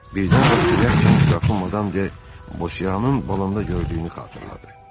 Birdən Rastinyak gənc Qrafinya de Bosiyanın balında gördüyünü xatırladı.